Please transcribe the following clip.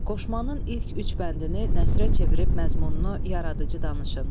Qoşmanın ilk üç bəndini nəsərə çevirib məzmununu yaradıcı danışın.